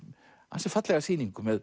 ansi fallega sýningu með